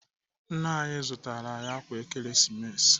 Nna anyị zụtara anyị ákwà Ekeresimesi.